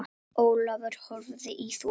Ólafur horfði í þokuna.